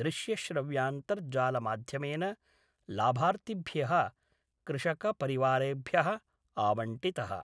दृश्यश्रव्यान्तर्जालमाध्यमेन लाभार्थिभ्यः कृषकपरिवारेभ्यः आवंटितः।